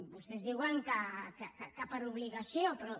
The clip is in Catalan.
vostès diuen que per obligació però